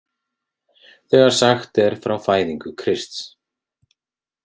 , þegar sagt er frá fæðingu Krists